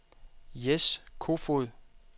Jess Kofod